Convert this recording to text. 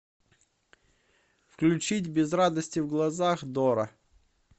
включить без радости в глазах дора